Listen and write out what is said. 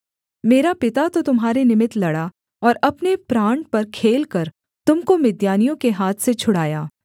मेरा पिता तो तुम्हारे निमित्त लड़ा और अपने प्राण पर खेलकर तुम को मिद्यानियों के हाथ से छुड़ाया